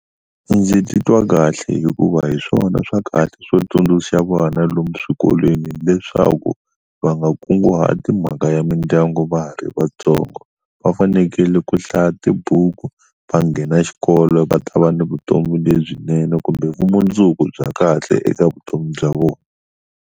Ndzi titwa kahle hikuva hi swona swa kahle swo tsundzuxa vana lomu swikolweni leswaku va nga kunguhati mhaka ya mindyangu va ha ri vatsongo va fanekele ku hlaya tibuku va nghena xikolo va ta va ni vutomi lebyinene kumbe vumundzuku bya kahle eka vutomi bya vona.